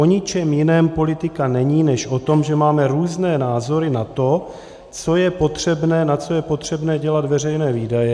O ničem jiném politika není než o tom, že máme různé názory na to, na co je potřebné dělat veřejné výdaje.